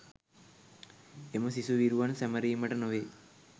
එම සිසු විරුවන් සැමරීමට නොවේ